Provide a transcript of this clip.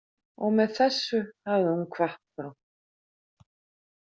Og með þessu hafði hún kvatt þá.